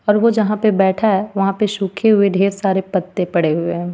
और वो जहा पे बैठा हे वहां पे सूखे हुए ढेर सारे पत्ते पड़े हुए हे.